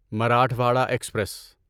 Marathwada express